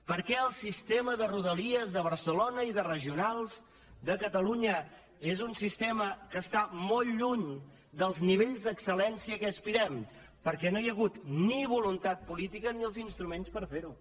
per què el sistema de rodalies de barcelona i de regionals de catalunya és un sistema que està molt lluny dels nivells d’excel·lència a què aspirem perquè no hi ha hagut ni voluntat política ni els instruments per ferho